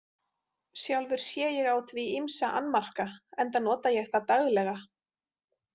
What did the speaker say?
Sjálfur sé ég á því ýmsa annmarka enda nota ég það daglega.